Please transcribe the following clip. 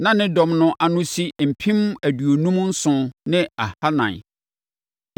Na ne dɔm no ano si mpem aduonum nson ne ahanan (57,400).